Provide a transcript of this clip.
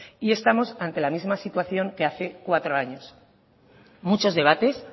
y estamos ante la misma situación que hace cuatro años muchos debates